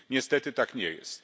Niestety tak nie jest.